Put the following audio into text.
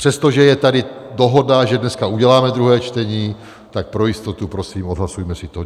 Přestože je tady dohoda, že dneska uděláme druhé čtení, tak pro jistotu prosím odhlasujme si to.